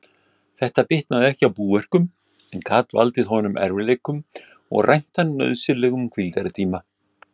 Þetta bitnaði ekki á búverkum, en gat valdið honum erfiðleikum og rænt hann nauðsynlegum hvíldartíma.